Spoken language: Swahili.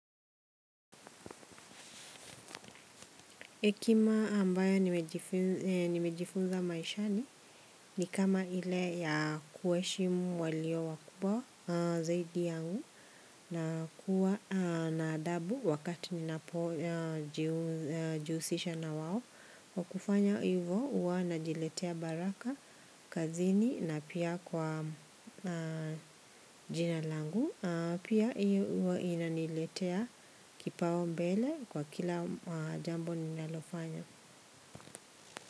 Hekima ambayo nimejifunza maishani ni kama ile ya kuheshimu walio wakubwa zaidi yangu na kuwa naadabu wakati ninapo jihusisha na wao. Kwa kufanya hivyo huwa na jiletea baraka, kazini na pia kwa jinalangu, piahiyo huwa inaniletea kipau mbele kwa kila jambo ninalofanya.